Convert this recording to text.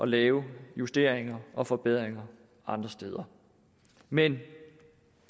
lave justeringer og forbedringer andre steder men